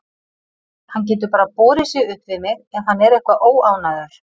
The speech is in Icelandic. Hann getur bara borið sig upp við mig ef hann er eitthvað óánægður.